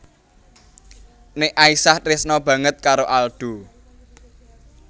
Nek Aisyah tresna banget karo Aldo